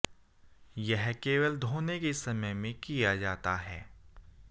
यह केवल धोने के समय में किया जाता है